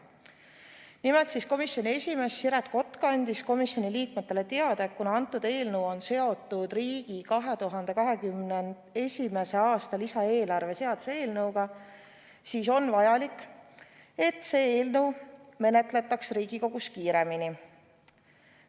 Nimelt, komisjoni esimees Siret Kotka andis komisjoni liikmetele teada, et kuna eelnõu on seotud riigi 2021. aasta lisaeelarve seaduse eelnõuga, siis on vajalik, et seda eelnõu menetletaks Riigikogus kiiremini.